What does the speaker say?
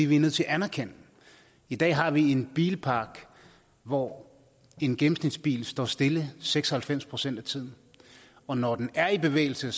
vi er nødt til at anerkende i dag har vi en bilpark hvor en gennemsnitsbil står stille seks og halvfems procent af tiden og når den er i bevægelse